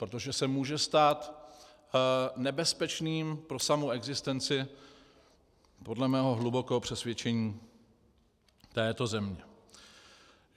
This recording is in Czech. Protože se může stát nebezpečným pro samu existenci, podle mého hlubokého přesvědčení, této země.